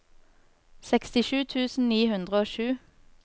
sekstisju tusen ni hundre og sju